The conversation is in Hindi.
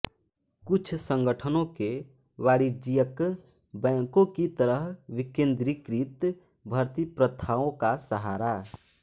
कुछ संगठनों के वाणिज्यिक बैंकों की तरह विकेन्द्रीकृत भर्ती प्रथाओं का सहारा